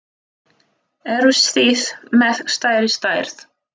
Eruð þið með stærri stærð?